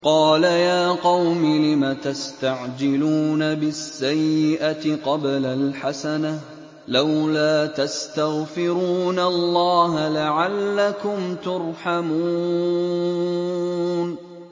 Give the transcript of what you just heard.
قَالَ يَا قَوْمِ لِمَ تَسْتَعْجِلُونَ بِالسَّيِّئَةِ قَبْلَ الْحَسَنَةِ ۖ لَوْلَا تَسْتَغْفِرُونَ اللَّهَ لَعَلَّكُمْ تُرْحَمُونَ